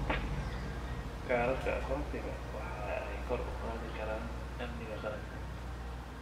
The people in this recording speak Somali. Kaararka aqoonsiga waxa ay kor u qaadi karaan amniga qaranka.